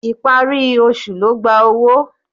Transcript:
Ìparí oṣù ló gba owó.